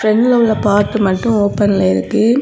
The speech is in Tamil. ஃபிரன்ட்ல உள்ள பார்ட் மட்டும் ஓபன்ல இருக்கு.